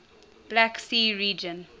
black sea region